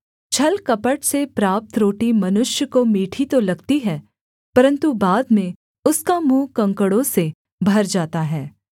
छलकपट से प्राप्त रोटी मनुष्य को मीठी तो लगती है परन्तु बाद में उसका मुँह कंकड़ों से भर जाता है